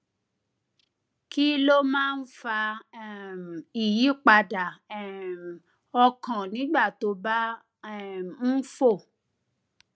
kí ló máa ń fa um ìyípadà um ọkàn nígbà tó o bá um ń fò